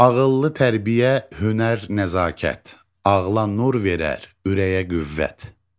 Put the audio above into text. Ağıllı tərbiyə, hünər, nəzakət ağla nur verər, ürəyə qüvvət.